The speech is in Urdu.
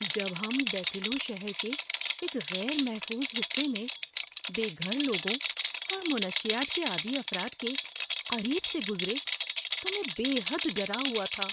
‏جب ہم بفیلو شہر کے ایک غیر محفوظ حصے میں بے گھر لوگوں اور منشیات کے عادی افراد کے قریب سے گزرے تو میں بے حد ڈرا ہوا تھا۔